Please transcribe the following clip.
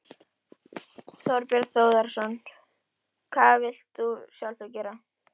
Þorbjörn Þórðarson: Hvað vilt þú sjálfur gera?